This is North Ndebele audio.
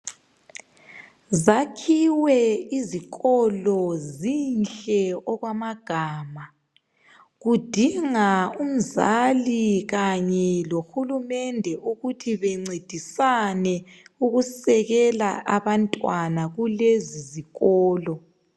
Zakhiwe izikolo zinhle okwamagama. Kudinga umzali kanye lohulumende ukuthi bencedisane ukusekela abantwana kulezizikolo.